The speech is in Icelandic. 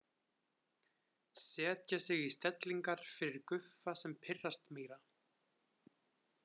Setja sig í stellingar fyrir Guffa sem pirrast meira.